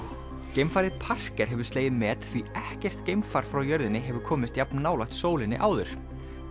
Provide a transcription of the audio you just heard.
geimfarið Parker hefur slegið met því ekkert geimfar frá jörðinni hefur komist jafn nálægt sólinni áður